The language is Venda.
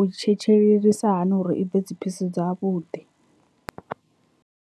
u tshetshelelisa hani uri i bve dziphisi dza vhuḓi.